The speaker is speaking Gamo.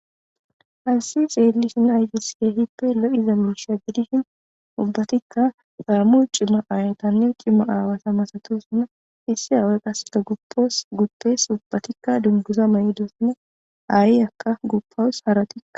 hansi xeelishin aytisiya hippe lo7iza miisha gidishin ubbatikka xaamuy cima ayatannen qimo aawasa masatoosuna issi aawe qasseta guppoos guppees ubbatikka dungusa ma7idoosane aayi akka guppawus haratika